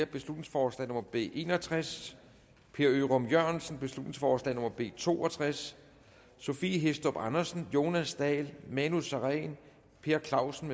beslutningsforslag nummer b en og tres per ørum jørgensen beslutningsforslag nummer b to og tres sophie hæstorp andersen jonas dahl manu sareen per clausen